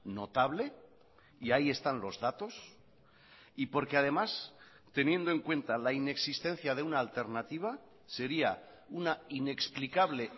notable y ahí están los datos y porque además teniendo en cuenta la inexistencia de una alternativa sería una inexplicable